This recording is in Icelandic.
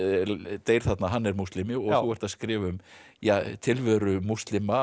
deyr þarna hann er múslimi og þú ert að skrifa um ja tilveru múslima